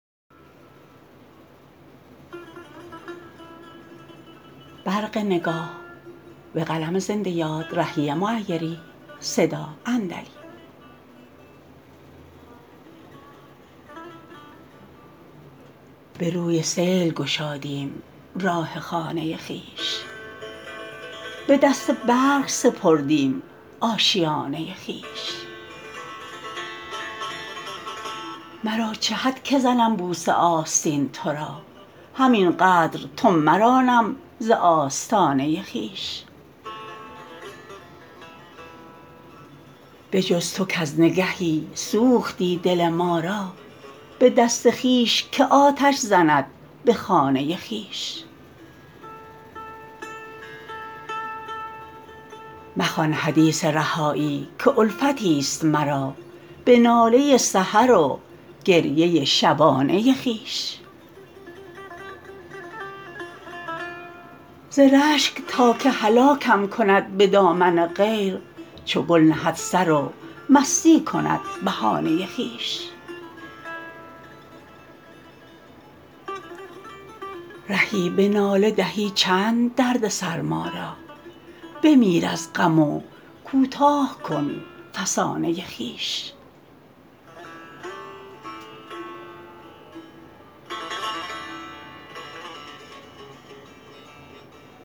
به روی سیل گشادیم راه خانه خویش به دست برق سپردیم آشیانه خویش مرا چه حد که زنم بوسه آستین ترا همین قدر تو مرانم ز آستانه خویش به جز تو کز نگهی سوختی دل ما را به دست خویش که آتش زند به خانه خویش مخوان حدیث رهایی که الفتی است مرا به ناله سحر و گریه شبانه خویش ز رشک تا که هلاکم کند به دامن غیر چو گل نهد سر و مستی کند بهانه خویش رهی به ناله دهی چند دردسر ما را بمیر از غم و کوتاه کن فسانه خویش